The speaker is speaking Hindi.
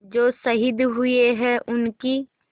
जो शहीद हुए हैं उनकी